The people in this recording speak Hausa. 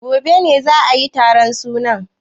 Gobe ne za ayi taron suna?